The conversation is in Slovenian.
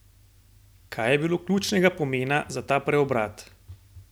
Kaj je bilo ključnega pomena za ta preobrat?